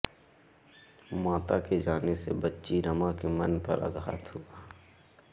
माता के जाने से बच्ची रमा के मन पर आघात हुआ